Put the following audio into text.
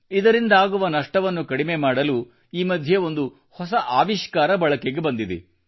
ಇದರಿಂದಾಗುವ ನಷ್ಟವನ್ನು ತಗ್ಗಿಸಲು ಈ ಮಧ್ಯೆ ಒಂದು ಹೊಸ ಆವಿಷ್ಕಾರ ಬಳಕೆಗೆ ಬಂದಿದೆ